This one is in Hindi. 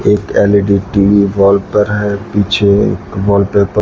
एक एल_इ_डी टी_वी वॉल पर है पीछे एक वॉलपेपर --